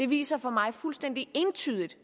viser for mig fuldstændig entydigt